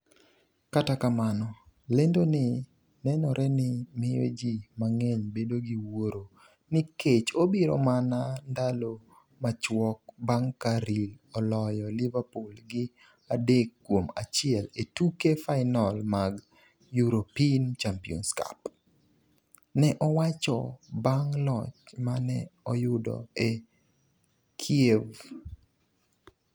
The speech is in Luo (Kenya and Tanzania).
Kata kamano, lendo ni nenore ni miyo ji mang'eny bedo gi wuoro nikech obiro mana ndalo machuok bang' ka Real oloyo Liverpool gi 3-1 e tuke final mag European Champions Cup. ne owacho bang’ loch ma ne oyudo e Kiev.